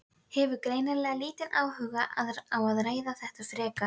Við höldum fyrirlestra um það hvernig alkohólisminn fer með manneskjuna.